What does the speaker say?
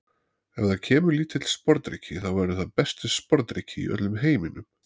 Ef það kemur lítill sporðdreki þá verður það besti sporðdreki í öllum heiminum.